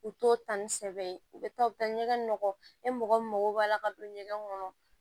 U t'o ta ni sɛbɛn ye u bɛ taa u bɛ taa ɲɛgɛn nɔgɔ e mɔgɔ min mago b'a la ka don ɲɛgɛn kɔnɔ